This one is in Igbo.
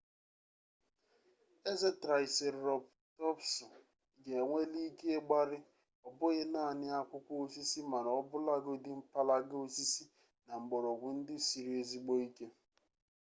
eze traịserotọpsụ ga-enweli ike ịgbari ọ bụghị naanị akwụkwọ osisi mana ọbụlagodi mpalaga osisi na mgbọrọgwụ ndị siri ezigbo ike